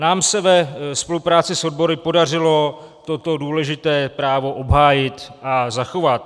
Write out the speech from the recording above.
Nám se ve spolupráci s odbory podařilo toto důležité právo obhájit a zachovat.